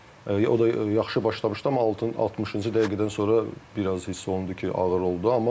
Ən azından o da yaxşı başlamışdı, amma 60-cı dəqiqədən sonra biraz hiss olundu ki, ağır oldu.